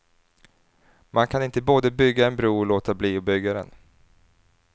Man kan inte både bygga en bro och låta bli att bygga den.